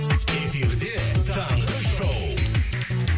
эфирде таңғы шоу